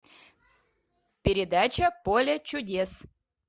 передача поле чудес